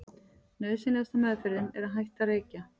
nauðsynlegasta „meðferðin“ er að hætta að reykja